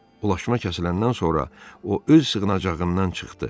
Ulaşma kəsiləndən sonra o öz sığınacağından çıxdı.